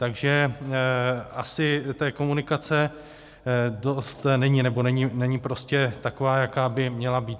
Takže asi té komunikace dost není, nebo není prostě taková, jaká by měla být.